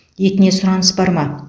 етіне сұраныс бар ма